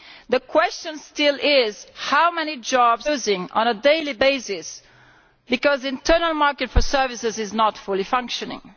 The question still is how many jobs are we losing on a daily basis because the internal market for services is not fully functioning?